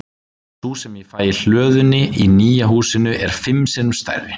Sú sem ég fæ í hlöðunni í nýja húsinu er fimm sinnum stærri.